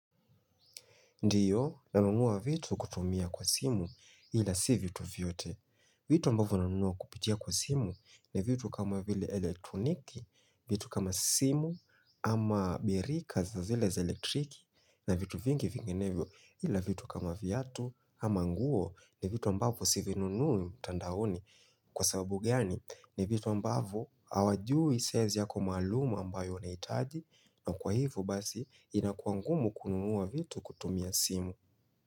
Ndiyo nanunua vitu kutumia kwa simu ila si vitu vyote. Vitu ambavo nanonua kupitia kwa simu ni vitu kama vile elektroniki, vitu kama simu ama birika za vile za elektriki na vitu vingi vinginevyo ila vitu kama vyiatu ama nguo ni vitu ambavo sivinunui mtandaoni. Kwa sababu gani ni vitu ambavo hawajui size yako maluum ambayo unahitaji na kwa hivo basi inakuwa ngumu kunuwa vitu kutumia simu.